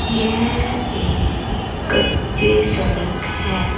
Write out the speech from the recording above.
यह एक कच्ची सड़क है।